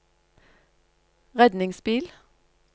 redningsbil